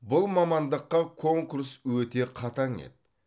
бұл мамандыққа конкурс өте қатаң еді